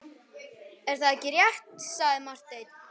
Ekki er það rétt, sagði Marteinn.